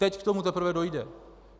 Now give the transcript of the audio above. Teď k tomu teprve dojde.